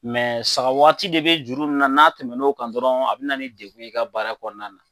sarawaati de bɛ juru ninnu na n'a tɛmɛn'o kan dɔrɔn a bɛ na ni dekun ye i ka baara kɔnɔna na